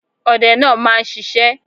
Ọdẹ náà máa ń sisé